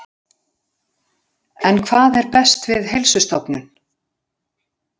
En hvað er best við Heilsustofnun?